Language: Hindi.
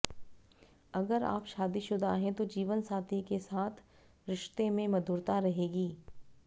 अगर आप शादीशुदा है तो जीवनसाथी के साथ रिश्ते में मधुरता रहेगी